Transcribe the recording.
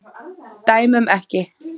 Dæmum ekki.